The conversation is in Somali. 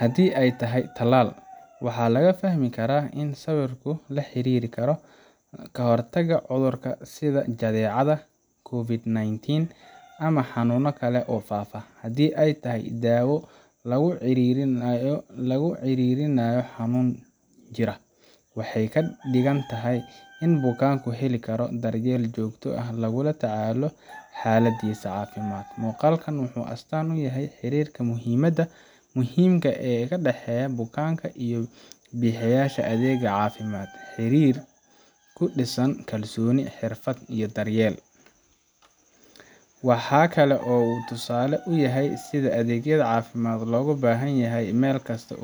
Haddii ay tahay tallaal, waxaa laga fahmi karaa in sawirku la xiriiri karo ka hortagga cudur sida jadeecada, COVID-19, ama xanuuno kale oo faafa. Haddii ay tahay daawo lagu ciriirinayo xanuun jira, waxay ka dhigan tahay in bukaanku heli karo daryeel joogto ah oo lagula tacaalayo xaaladdiisa caafimaad. Muuqaalkani wuxuu astaan u yahay xiriirka muhiimka ah ee u dhexeeya bukaanka iyo bixiyaha adeegga caafimaadka xiriir ku dhisan kalsooni, xirfad, iyo daryeel. Waxa kale oo uu tusaale u yahay sida adeegyada caafimaad loogu baahan yahay meel kasta.